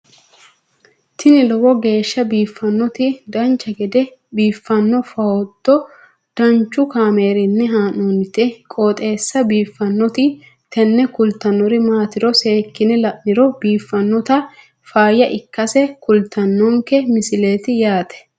tini lowo geeshsha biiffannoti dancha gede biiffanno footo danchu kaameerinni haa'noonniti qooxeessa biiffannoti tini kultannori maatiro seekkine la'niro biiffannota faayya ikkase kultannoke misileeti yaate